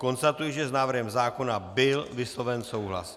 Konstatuji, že s návrhem zákona byl vysloven souhlas.